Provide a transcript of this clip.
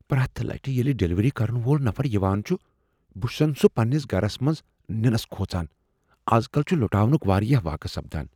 پرٛیتھ لٹہِ ییٚلہ ڈلیوری کرن وول نفر یوان چٗھ ، بہ چھسن سُہ پنٛنس گرس منٛز ننس كھوژان ۔ از کل چھ لٗٹاونٕكہِ وارِیاہ واقعہ سپدان ۔